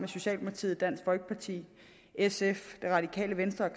socialdemokratiet dansk folkeparti sf det radikale venstre